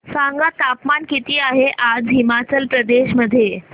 सांगा तापमान किती आहे आज हिमाचल प्रदेश मध्ये